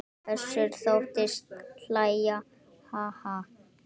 Össur þóttist hlæja: Ha ha.